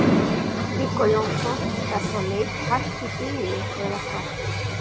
Viggó Jónsson: Er þá leit hætt í bili eða hvað?